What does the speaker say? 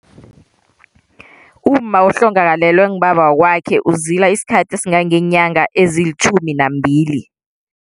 Umma ohlongakalelwe ngubaba wakwakhe uzila isikhathi esingangeenyanga ezilitjhumi nambili.